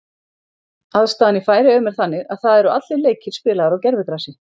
Aðstaðan í Færeyjum er þannig að það eru allir leikir spilaðir gervigrasi.